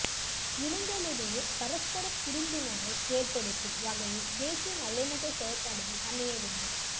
இனங்களிடையே பரஸ்பர புரிந்துணர்வை ஏற்படுத்தும் வகையில் தேசிய நல்லிணக்க செயற்பாடுகள் அமையவேண்டும்